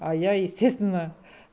а я естественно